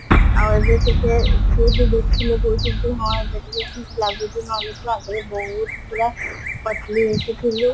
ଆଉ ଏବେ ଟିକେ ଯିଏବି ଦେଖିଲେ କହୁଚନ୍ତି ହଁ ଏବେ ଟିକେ ଠିକ ଲାଗୁଛୁ ନହେଲେ ଉଟ ଆଗେ ବହତୁ ପୁରା ପତଳି ହେଇକି ଥିଲୁ